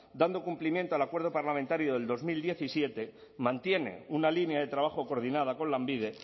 dando cumplimiento al acuerdo parlamentario de dos mil diecisiete mantiene una línea de trabajo coordinada con lanbide